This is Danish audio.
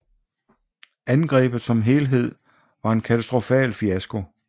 Angrebet som helhed var en katastrofal fiasko